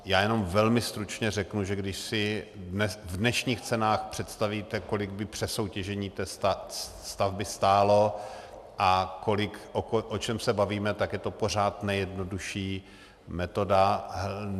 Já jen velmi stručně řeknu, že když si v dnešních cenách představíte, kolik by přesoutěžení té stavby stálo a o čem se bavíme, tak je to pořád nejjednodušší metoda.